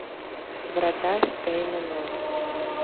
врата штейна ноль